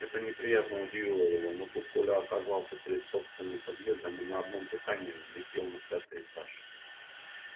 это неприятно удивило его но тут коля оказался перед собственным подъездом и на одном дыхании влетел на пятый этаж